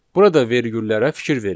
Burada vergüllərə fikir verin.